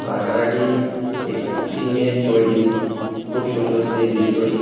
কারখানাটি এট টিনের তৈরি খুব সুন্দর সেই দৃশ্য টি।